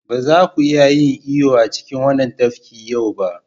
Ba za ku iya yin iyo a cikin wannan tafkin yau ba.